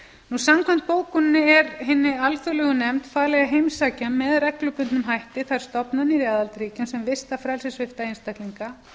lútandi samkvæmt bókuninni er hinni alþjóðlegu nefnd falið að heimsækja með reglubundnum hætti þær stofnanir aðildarríkja sem vista frelsissvipta einstaklinga